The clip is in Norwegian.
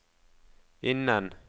innen